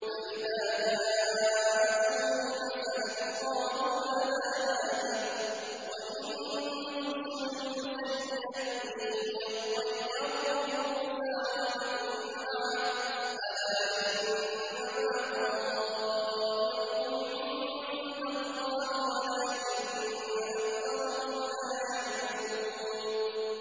فَإِذَا جَاءَتْهُمُ الْحَسَنَةُ قَالُوا لَنَا هَٰذِهِ ۖ وَإِن تُصِبْهُمْ سَيِّئَةٌ يَطَّيَّرُوا بِمُوسَىٰ وَمَن مَّعَهُ ۗ أَلَا إِنَّمَا طَائِرُهُمْ عِندَ اللَّهِ وَلَٰكِنَّ أَكْثَرَهُمْ لَا يَعْلَمُونَ